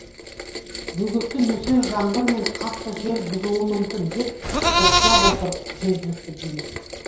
бөгетті нөсер жаңбыр мен қатты жел бұзуы мүмкін деп топшылап отыр жергілікті билік